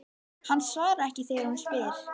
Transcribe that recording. Hann svarar ekki þegar hún spyr.